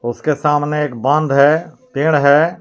उसके सामने एक बंध है पेड़ है.